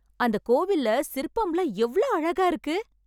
அந்த கோவில்ல சிற்பம்லா எவ்ளோ அழகா இருக்கு